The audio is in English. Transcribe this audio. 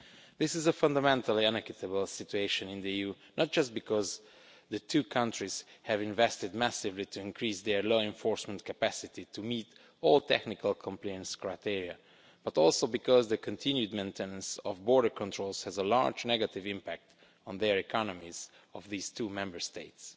This is a fundamentally unequitable situation in the EU, not just because the two countries have invested massively to increase their law enforcement capacity to meet all technical compliance criteria, but also because the continued maintenance of border controls has a large negative impact on the economies of these two Member States.